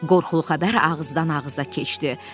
Qorxulu xəbər ağızdan ağıza keçdi.